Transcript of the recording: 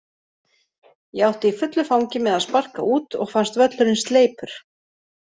Ég átti í fullu fangi með að sparka út og fannst völlurinn sleipur.